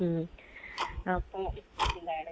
മ്മ്. അപ്പൊ എന്താണ്